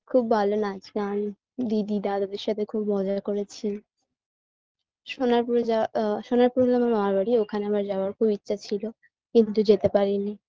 খুব ভালো নাচগান দিদি দাদাদের সাথে খুব মজা করেছি সোনারপুরে যাওয়া আ সোনারপুরে আমার মামার বাড়ি ওখানে আমার যাওয়ার খুব ইচ্ছা ছিল কিন্তু যেতে পারিনি